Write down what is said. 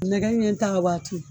Nɛgɛ ɲɛ tan waati